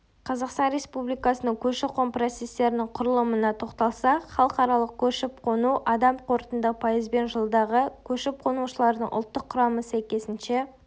қазақстан республикасының көші-қон процестерінің құрылымына тоқталсақ халықаралық көшіп-қону адам қорытынды пайызбен жылдағы көшіп-қонушылардың ұлттық құрамы сәйкесінше